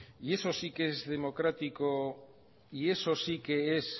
y eso sí que es democrático y eso sí que es